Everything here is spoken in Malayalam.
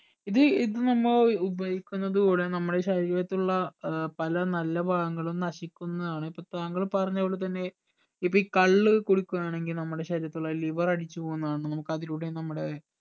ഇത് ഇത് നമ്മ ഉപയോഗിക്കുന്നതൂടെ നമ്മളെ ശരീരത്തിലുള്ള ഏർ പല നല്ല ഭാഗങ്ങളും നശിക്കുന്നാണ് ഇപ്പൊ താങ്കൾ പറഞ്ഞ പോലെ തന്നെ ഇപ്പൊ ഈ കള്ള് കുടിക്കുവാണെങ്കിൽ നമ്മുടെ ശരീരത്തിൽ ഉള്ള liver അടിച്ചു പോകുന്നതാണ് നമുക്ക് അതിലൂടെ നമ്മുടെ